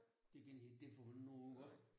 Det gør jeg ikke det går du ikke noget ud af